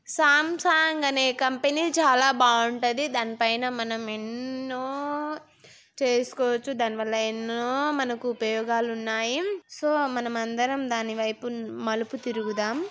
Samsung అనే company చాలా బావుంటది. దాని పైన మనం ఎన్నో-న్నో-న్నో చేస్కోవచ్చు. దాని వల్ల ఎన్నో మనకు ఉపయోగాలు ఉన్నాయి. సో మనమందరం దాని వైపు మలుపు తిరుగుదాం.